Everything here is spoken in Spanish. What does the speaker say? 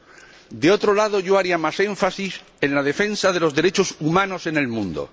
Por otro lado, yo pondría más énfasis en la defensa de los derechos humanos en el mundo.